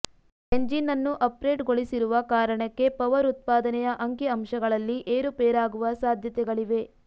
engine ಅನ್ನು ಅಪ್ಗ್ರೇಡ್ಗೊಳಿಸಿರುವ ಕಾರಣಕ್ಕೆ ಪವರ್ ಉತ್ಪಾದನೆಯ ಅಂಕಿ ಅಂಶಗಳಲ್ಲಿ ಏರುಪೇರಾಗುವ ಸಾಧ್ಯತೆಗಳಿವೆ